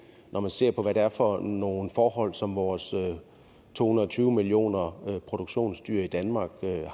når man ser på hvad det er for nogle forhold som vores to hundrede og tyve millioner produktionsdyr i danmark